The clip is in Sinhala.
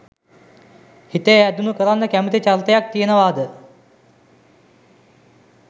හිතේ ඇඳුණු කරන්න කැමැති චරිතයක් තියෙනවාද?